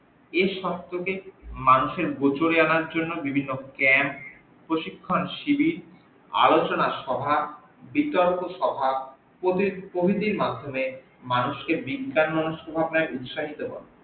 এই সত্যকে মানুষের গোচরে আনার জন্য বিভিন্ন জ্ঞান প্রশিক্ষণ সিবির আলোচনা সভা বিতর্ক সভা প্রবৃত্তি প্রভৃতির মাধ্যমে মানুষকে বিজ্ঞান মনস্ক থাকাই উৎসাহিত করে